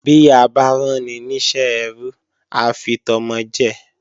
Bí a bá ráni ní iṣẹ́ ẹrú á fi tọmọ jẹ